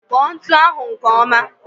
Kpọ ntụ ahụ nke ọma